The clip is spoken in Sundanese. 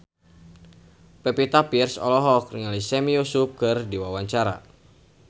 Pevita Pearce olohok ningali Sami Yusuf keur diwawancara